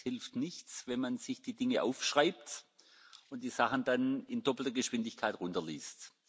Es hilft nichts, wenn man sich die Dinge aufschreibt und die Sachen dann in doppelter Geschwindigkeit herunterliest.